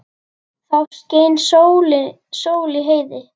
Þá skein sól í heiði.